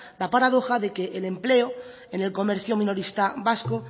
la paradoja de que el empleo en el comercio minorista vasco